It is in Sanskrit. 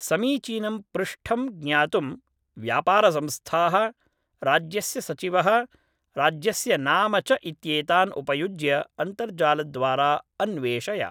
समीचीनं पृष्ठं ज्ञातुं 'व्यापारसंस्थाः', 'राज्यस्य सचिवः', राज्यस्य नाम च इत्येतान् उपयुज्य अन्तर्जालद्वारा अन्वेषय।